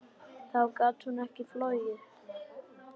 Þá gat hún ekki flogið.